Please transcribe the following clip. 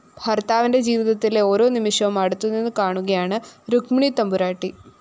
ഭര്‍ത്താവിന്റെ ജീവിതത്തിലെ ഓരോ നിമിഷവും അടുത്തുനിന്ന് കാണുകയാണ് രുക്മിണിത്തമ്പുരാട്ടി